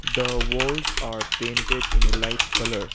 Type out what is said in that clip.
the walls are painted in a light colour.